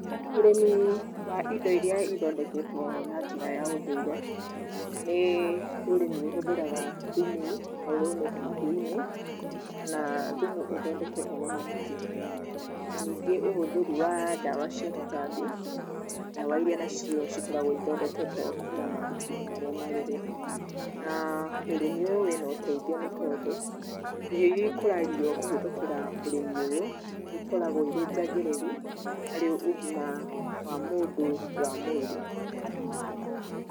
Ũrĩmi wa indo iria ithondeketwo na njĩra ya ũndũire nĩ ũrĩmi ũhũthĩraga thumu ta ũrĩa umĩte mahiũ-inĩ kana thumu ũthondeketwo na mahuti. Na ningĩ ũhũthĩri wa dawa cia tũtambi, dawa iria nacio cikoragwo ithondeketwo kuma mahuti-inĩ marĩa marũrũ. Na ũrĩmi ũyũ wĩ na ũteithio nĩ tondũ, irio iria ikũragio kũhĩtũkĩra ũrĩmi ũyũ, nĩ ikoragwo irĩ njagĩrĩru, harĩ ũgima wa mũndũ wa mwĩrĩ.